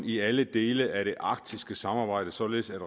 i alle dele af det arktiske samarbejde således at